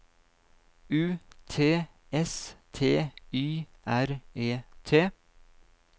U T S T Y R E T